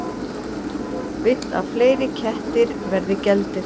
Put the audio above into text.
Vill að fleiri kettir verði geldir